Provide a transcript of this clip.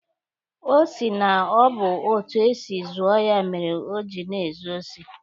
Ọ sị na ọ bụ etu esi zụọ ya mere oji na-ezu osi.